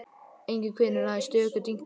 Enginn hvinur, aðeins stöku dynkir.